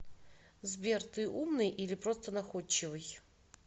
сбер ты умный или просто находчивый